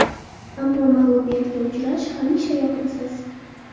Ammo mag‘lubiyatga uchrash hamisha yoqimsiz.